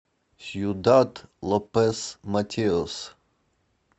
сьюдад лопес матеос